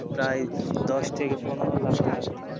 প্রায় দশ থেকে পনেরো লাখটাকা